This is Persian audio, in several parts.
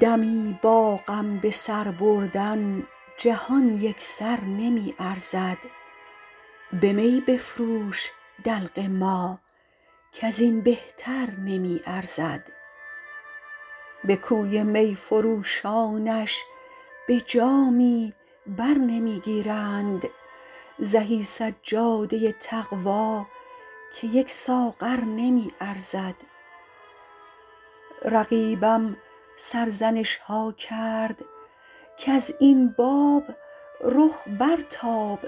دمی با غم به سر بردن جهان یک سر نمی ارزد به می بفروش دلق ما کز این بهتر نمی ارزد به کوی می فروشانش به جامی بر نمی گیرند زهی سجاده تقوا که یک ساغر نمی ارزد رقیبم سرزنش ها کرد کز این باب رخ برتاب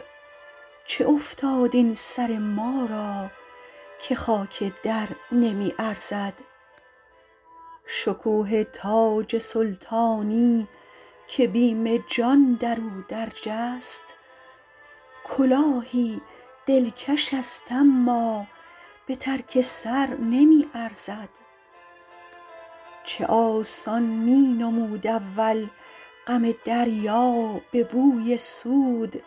چه افتاد این سر ما را که خاک در نمی ارزد شکوه تاج سلطانی که بیم جان در او درج است کلاهی دلکش است اما به ترک سر نمی ارزد چه آسان می نمود اول غم دریا به بوی سود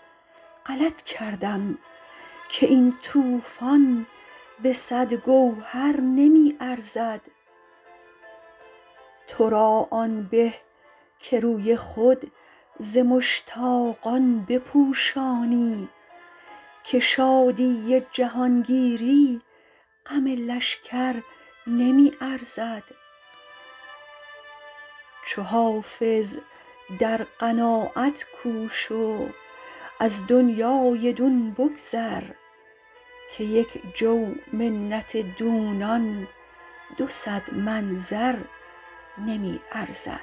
غلط کردم که این طوفان به صد گوهر نمی ارزد تو را آن به که روی خود ز مشتاقان بپوشانی که شادی جهانگیری غم لشکر نمی ارزد چو حافظ در قناعت کوش و از دنیای دون بگذر که یک جو منت دونان دو صد من زر نمی ارزد